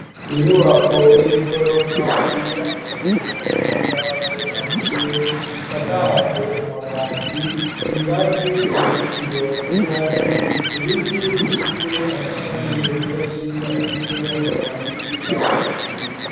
Inyubako y'igorofa yubakishijwe amatafari ahiye ,isakajwe amabati ,ingazi uruzitiro rw'ingazi ,ibiti bifise amashami menshi ,afise amababi y'icatsi kibisi.